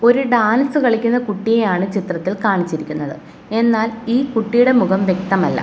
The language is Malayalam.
ഒരു ഡാൻസ് കളിക്കുന്ന കുട്ടിയെ ആണ് ചിത്രത്തിൽ കാണിച്ചിരിക്കുന്നത് എന്നാൽ ഈ കുട്ടിയുടെ മുഖം വ്യക്തമല്ല.